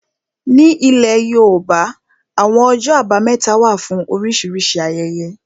Ní ilẹ̀ yóòbá, àwọn ọjọ́ àbámẹ́ta wà fún oríṣìíríṣìí ayẹyẹ